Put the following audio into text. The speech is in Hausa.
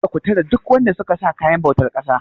Kada ku tare duk wanda suka sa kayan bautar ƙasa.!